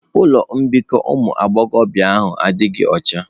Ụlọ mbikọ ụmụ agbọghọ adịghị ọcha.